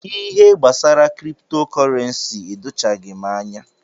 Ihe gbasara kripto kọrensi edochaghi m anya.